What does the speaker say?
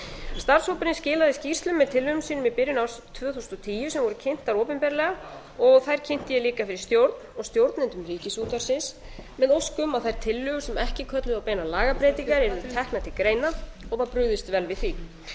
starfshópurinn skilaði skýrslu með tillögum sínu byrjun árs tvö þúsund og tíu sem voru kyntar opinberlega og þær kynnti ég líka fyrir stjórn og stjórnendum ríkisútvarpsins með ósk um að þær tillögur sem ekki kölluðu á beina lagabreytingar yrðu teknar til greina og var brugðist vel við því